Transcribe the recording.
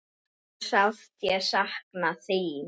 Hve sárt ég sakna þín.